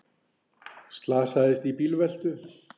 Slasaðist í bílveltu